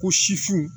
Ko sifu